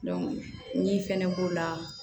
min fɛnɛ b'o la